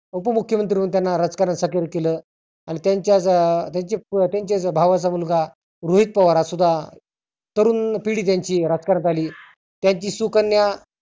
उपमुख्यमंत्री त्याना राजकारण साकिर केलं. आणि त्याच्या अं त्याच्या भावाचा मुलगा रोहित पवार हा सुद्धा तरुण पिढी त्यांची राजकारणात आली. त्यांची सुकन्या